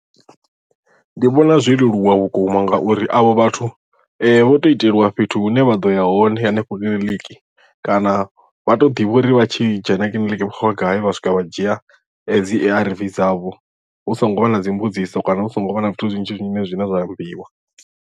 Ndi vhona zwo leluwa vhukuma ngauri avho vhathu vho to itelwa fhethu hune vha ḓoya hone hanefho kiḽiniki kana vha to ḓivha uri vha tshi dzhena kiḽiniki vha khou ya gai vha swika vha dzhia dzi A_R_V dzavho hu songo vha na dzimbudziso kana hu songo vha na zwithu zwinzhi zwine zwine zwa ambiwa.